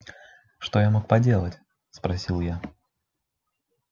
что я мог поделать спросил я